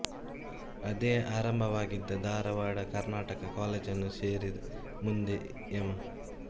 ಅದೇ ಆರಂಭವಾಗಿದ್ದ ಧಾರವಾಡದ ಕರ್ನಾಟಕ ಕಾಲೇಜನ್ನು ಸೇರಿ ಮುಂದೆ ಎಂ